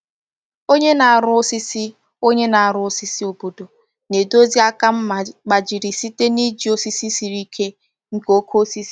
Onye na-arụ osisi Onye na-arụ osisi obodo na-edozi aka mma gbajiri site n’iji osisi siri ike nke oke osisi.